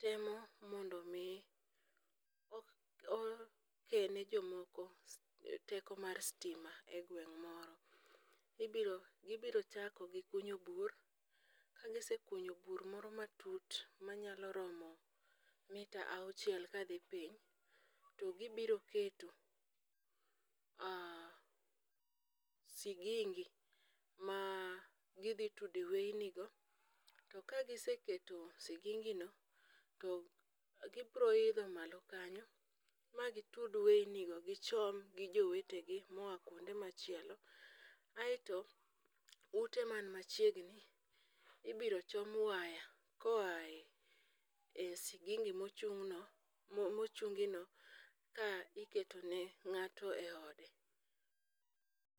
temo mondo omi okelne jomoko teko mar sitima e gweng' moro. Gibiro chako gi kunyo bur, kagisekunyo bur moro matut manyalo romo mita auchiel kadhi piny to gibiro keto sigingi ma gidhi tude weinigo. To ka giseketo sigingino, to gibiro idho malo kanyo ma gitud weinigo gichom gi jowetegi moa kwonde machielo, aeto ute man machiegni, ibiro chom waya koae sigingi mochunguni, ka iketone ng'ato e ode.